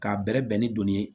K'a bɛrɛbɛn ni donni ye